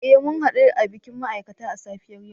Eh mun hadu a dakin ma'aikata a safiyar yau